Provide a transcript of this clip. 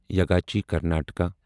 یگاچی Karnataka